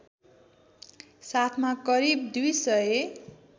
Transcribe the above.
साथमा करिब २००